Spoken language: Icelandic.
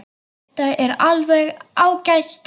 Þetta er alveg ágæt stelpa.